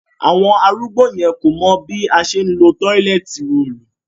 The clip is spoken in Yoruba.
Àwọn arúgbó yẹn kò mọ̀ bí a ṣe ńlo róòlù